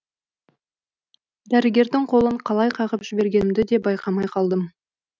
дәрігердің қолын қалай қағып жібергенімді де байқамай қалдым